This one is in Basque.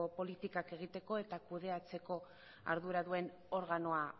politikak egiteko eta kudeatzeko ardura duen organoa